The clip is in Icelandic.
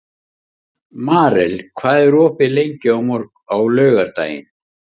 Marel, hvað er opið lengi á laugardaginn?